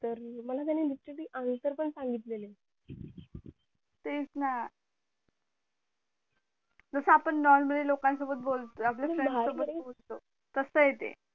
मला त्याने literally answer पण सांगितलेले तेच ना जस आपण normally लोकांसोबत बोलतो आपल्या friend सोबत बोलतो तसं य ते